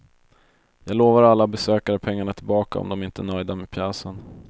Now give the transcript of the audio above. Jag lovar alla besökare pengarna tillbaka om de inte är nöjda med pjäsen.